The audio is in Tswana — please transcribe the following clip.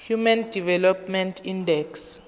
human development index